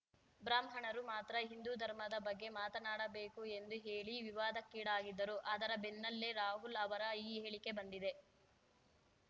ಬ್ರಾಹ್ಮಣರು ಮಾತ್ರ ಹಿಂದೂ ಧರ್ಮದ ಬಗ್ಗೆ ಮಾತನಾಡಬೇಕು ಎಂದು ಹೇಳಿ ವಿವಾದಕ್ಕೀಡಾಗಿದ್ದರು ಅದರ ಬೆನ್ನಲ್ಲೇ ರಾಹುಲ್‌ ಅವರ ಈ ಹೇಳಿಕೆ ಬಂದಿದೆ